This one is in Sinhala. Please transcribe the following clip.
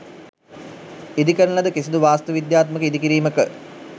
ඉදි කරන ලද කිසිදු වාස්තු විද්‍යාත්මක ඉදි කිරීමක